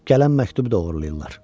Gələn məktubu oğurlayırlar.